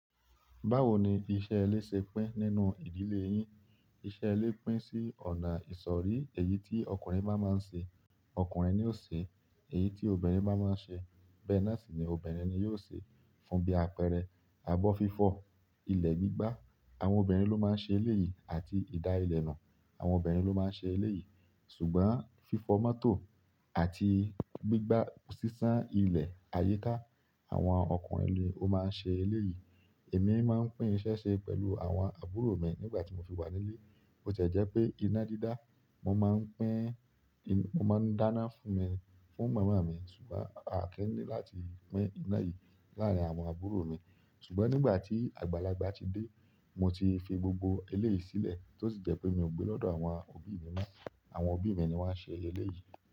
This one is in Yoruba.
Báwo ni iṣẹ́ ilé ṣe pín nínú ìdílé yín? Iṣẹ́ ilé pín sí ọ̀nà ìsọ̀rí, èyí tí ọkùnrin bá máa ń ṣe, ọkùnrin ni ó ṣe, èyí tí obìnrin bá máa ń ṣe bẹ́ẹ̀ náà sì ni obìnrin ni yóò ṣe. Fún bí àpẹẹrẹ, abọ́-fífọ̀, ilẹ̀ gbígbá, àwọn obìnrin ló máa ń ṣe eléyì, àti ìdá ilẹ̀ nu, àwọn obìnrin ló máa ń ṣe eléyì. Ṣùgbọ́n fífọ mọ́tò àti gbígbá sísá ilẹ̀ àyíká, àwọn ọkùnrin ni ó máa ń ṣe eléyì. Èmi máa ń pín iṣẹ́ ṣe pẹ̀lú àwọn àbúrò mi nígbà tí mo fi wà nílé. Bo ti e jẹ́ pé iná dídá, mo máa ń pín, mo máa ń dáná fún mi, fún màmá mi, ṣùgbọ́n a kin ní láti pín iná yìí láàárín àwọn àbúrò mi. Ṣùgbọ́n nígbà tí àgbàlagbà ti dé, mo ti fi gbogbo eléyì sílẹ̀ tó sì jẹ́ pé mi ò gbé lọ́dọ̀ àwọn òbí mi mọ́. Àwọn òbí mi ni wọ́n ṣe ẹlẹ́yì.